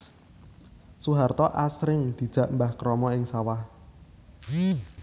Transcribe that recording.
Soeharto asring dijak Mbah Kromo ing sawah